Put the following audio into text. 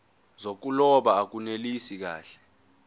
zokuloba akunelisi kahle